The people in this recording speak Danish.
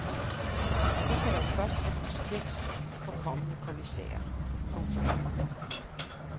Det kan dog først få konsekvens for kommende kommissærer. punktum